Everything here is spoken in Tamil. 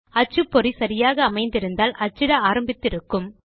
அச்சுப்பொறி சரியாக அமைந்திருந்தால் அச்சிட ஆரம்பித்து இருக்கும்